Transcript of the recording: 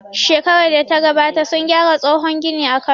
Shekarar data gabata sun gyara tsohon gini a Kano